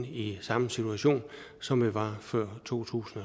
i samme situation som vi var i før to tusind